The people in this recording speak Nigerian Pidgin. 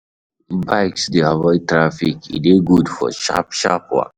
Bikes de avoid traffic e de good for sharp sharp waka